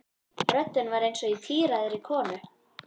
Röddin var eins og í tíræðri konu.